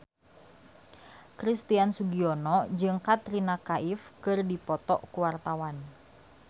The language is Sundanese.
Christian Sugiono jeung Katrina Kaif keur dipoto ku wartawan